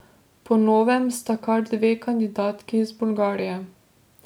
Po novem sta kar dve kandidatki iz Bolgarije.